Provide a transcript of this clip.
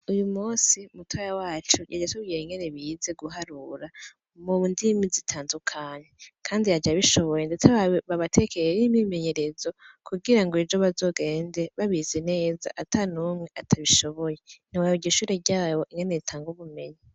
Uyu musi mutaya wacu yaja asubwiye ingene bize guharura mu ndimi zitandukanye, kandi yaja bishoboye, ndetse bawe babatekeyer imimenyerezo kugira ngo ejo bazogende babize neza ata n'umwe atabishoboye ni waba igishure ryabo inkene ritanga ubumenyi.